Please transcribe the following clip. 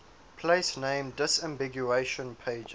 place name disambiguation pages